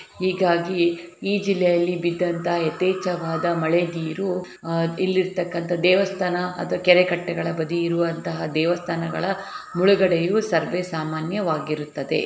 ಹೀಗಾಗಿ ಈ ಜಿಲ್ಲೆಯಲ್ಲಿ ಬಿದ್ದಂತ ಯಥೇಚ್ಛವಾದ ಮಳೆ ನೀರು ಆ ಇಲ್ಲಿರ್ತಕ್ಕಂತ ದೇವಸ್ಥಾನ ಅಥವಾ ಕೆರೆಕಟ್ಟೆಗಳ ಬಗೆ ಇರುವಂತಹ ದೇವಸ್ಥಾನಗಳ ಮುಳುಗಡೆಯೂ ಸರ್ವೇ ಸಾಮಾನ್ಯವಾಗಿರುತ್ತದೆ.